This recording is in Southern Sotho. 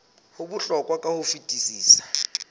ho bohlokwa ka ho fetisisa